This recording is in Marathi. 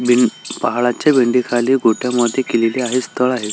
पहाडच्या खाली गोठया मध्ये केलेली आहे स्थळ आहे.